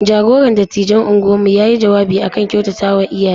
Jagoran dattijan unguwarmu ya yi jawabi a kan kyautatawa iyaye.